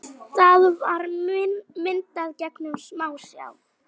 Það var myndað gegnum smásjá.